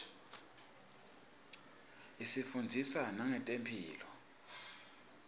isifundzisa nangetemphilo